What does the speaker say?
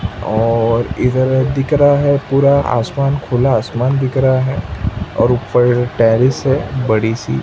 और इधर दिख रहा है पूरा आसमान खुला आसमान दिख रहा है और ऊपर टेरेस है बड़ी सी--